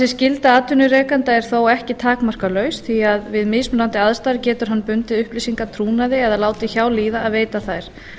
skylda atvinnurekanda er þó ekki takmarkalaus því að við mismunandi aðstæður getur hann bundið upplýsingar trúnaði eða látið hjá líða að veita þær